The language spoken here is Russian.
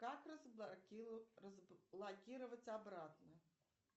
как разблокировать обратно